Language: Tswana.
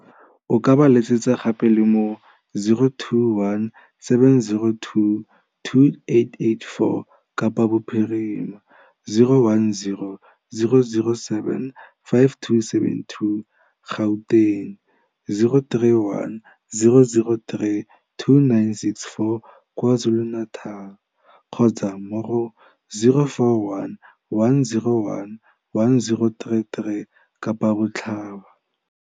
O ka ba letsetsa gape le mo go 021 702 2884, Kapa Bophirima, 010 007 5272, Gauteng, 031 003 2964, KwaZulu-Natal kgotsa mo go 041 101 1033, Kapa Botlhaba.